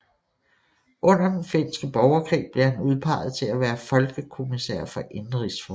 Under den finske borgerkrig blev han udpeget til at være folkekommissær for indenrigsforhold